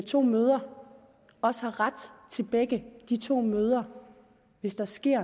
to mødre også har ret til begge de to mødre hvis der sker